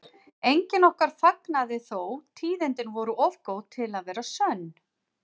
Enginn okkar fagnaði þó, tíðindin voru of góð til að vera sönn.